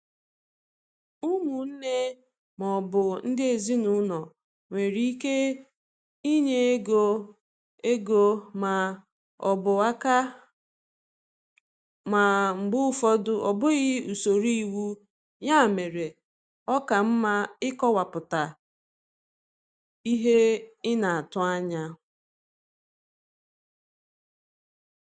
Ụmụnne ma ọ bụ ndị ezinụlọ nwere ike inye ego ego ma ọ bụ aka, ma mgbe ụfọdụ ọ bụghị usoro iwu, ya mere ọ ka mma ịkọwapụta ihe ị na-atụ anya.